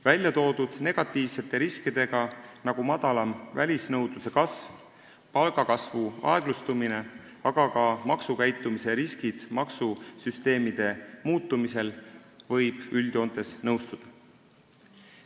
Väljatoodud riskidega, nagu madalam välisnõudluse kasv, palgakasvu aeglustumine, aga ka maksukäitumise riskid maksusüsteemide muutumisel, võib üldjoontes nõustuda.